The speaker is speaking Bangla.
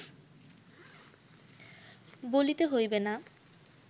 বলিতে হইবে না